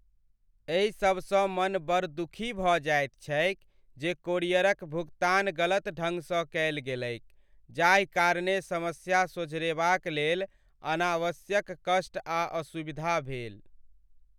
एहि सबसँ मन बड़ दुखी भऽ जाइत छैक जे कोरियरक भुगतान गलत ढङ्ग सँ कयल गेलैक जाहि कारणे समस्या सोझरेबाक लेल अनावश्यक कष्ट आ असुविधा भेल।